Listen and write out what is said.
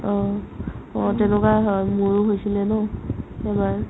অ, অ তেনেকুৱা হয় মোৰো হৈছিলে ন এবাৰ